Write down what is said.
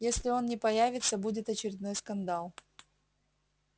если он не появится будет очередной скандал